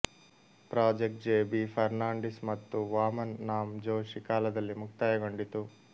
project J B Fernandes ಮತ್ತು ವಾಮನ್ ನಾಮ್ ಜೋಶಿ ಕಾಲದಲ್ಲಿ ಮುಕ್ತಾಯಗೊಂಡಿತು